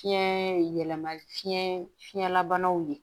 Fiɲɛ yɛlɛmali fiɲɛ fiɲɛla banaw de ye